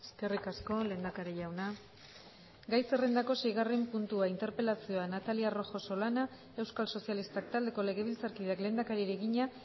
eskerrik asko lehendakari jauna gai zerrendako seigarren puntua interpelazioa natalia rojo solana euskal sozialistak taldeko legebiltzarkideak lehendakariari egina